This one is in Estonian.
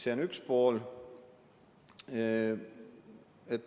See on üks pool.